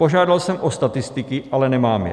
Požádal jsem o statistiky, ale nemám je.